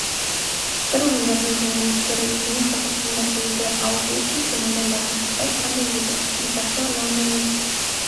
сыр өңірінің журналистері егемен қазақстанда болды ал бұл кезде майдандағы жағдай қандай еді скрипкашы лана мен